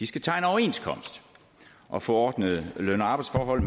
skal tegne overenskomst og få ordnede løn og arbejdsforhold